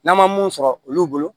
N'an ma mun sɔrɔ olu bolo